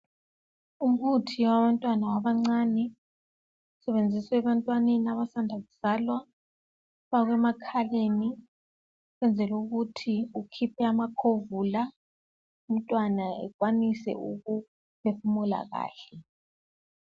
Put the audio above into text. Umuthi wabantwana abancani, usebenziswa ebantwaneni abasanda kuzalwa. Ufakwa emakhaleni ukwenzela ukuthi ukhiphe amakhovula umntwana ekwanise ukuphefumula kahle.